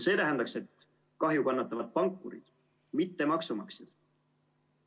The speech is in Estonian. See tähendaks, et kahju kannatavad pankurid, mitte maksumaksjad.